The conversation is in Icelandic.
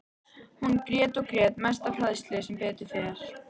Hún grét og grét, mest af hræðslu, sem betur fer.